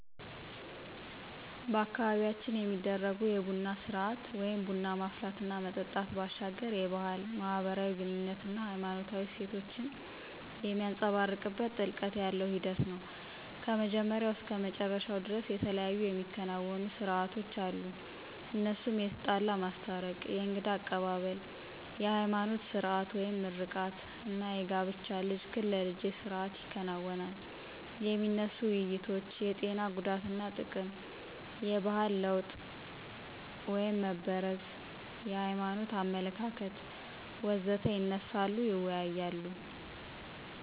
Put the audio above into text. በአካባቢያችን የሚደረጉ የቡና ስርአት (ቡና ማፍላት እና መጠጣት) ባሻገር የባህል፣ ማህበራዊ ግኑኝነት አና ሃይማኖታዊ እሴቶችን የሚንፀባረቅበት ጥልቀት ያለው ሂደት ነው። ከመጀመሪያው እስከ መጨረሻው ደርስ የተለያዩ የሚከናወኑ ሰርአቶች አሉ እነሱም የተጣላ ማስታረቅ፣ የእንግዳ አቀባብል፣ የሀይማኖት ስርአት (ምርቃት) አና የጋብቻ ልጅህን ለልጀ ስርአት ይከናወናል። የሚነሱ ውይይቶች የጤና ጉዳትና ጥቅም፣ የባህል ለወጥ (መበረዝ) የሀይማኖት አመለካከት.... ወዘተ ይነሳሉ ይወያያሉ።